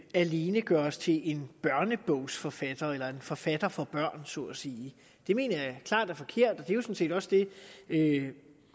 alene gøres til en børnebogsforfatter eller en forfatter for børn så at sige det mener jeg klart er forkert og det er jo sådan set også det